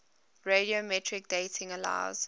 radiometric dating allows